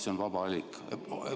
See on vaba valik.